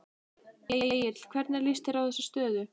Egill hvernig líst þér á þessa stöðu?